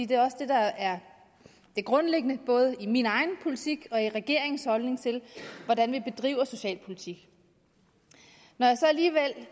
det er også det der er det grundlæggende både i min egen politik og i regeringens holdning til hvordan vi bedriver socialpolitik når jeg så alligevel